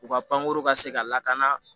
U ka pankurun ka se ka lakana